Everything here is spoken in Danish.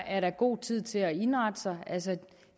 er god tid til at indrette sig altså